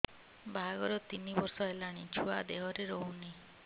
ବାହାଘର ତିନି ବର୍ଷ ହେଲାଣି ଛୁଆ ଦେହରେ ରହୁନି